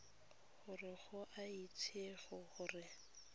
gore go a itsege gore